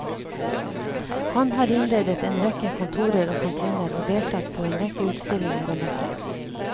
Han har innredet en rekke kontorer og kantiner og deltatt på en rekke utstillinger og messer.